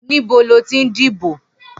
Nibó ló ti n dibó?